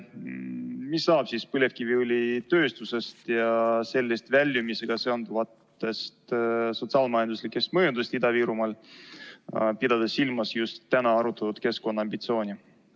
Mis saab põlevkiviõlitööstusest ja sellest väljumisega seonduvatest sotsiaal-majanduslikest mõjudest Ida-Virumaal, pidades silmas just täna arutatud keskkonnaambitsiooni?